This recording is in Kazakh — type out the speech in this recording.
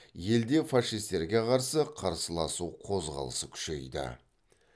елде фашистерге қарсы қарсыласу қозғалысы күшейді